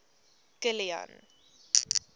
kilian